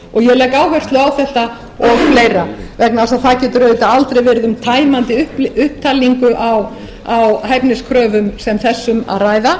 og ég legg áherslu á þetta og fleira vegna þess að það getur aldrei verið um tæmandi upptalningu á hæfniskröfum sem þessum að ræða